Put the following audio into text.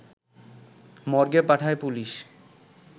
মর্গে পাঠায় পুলিশ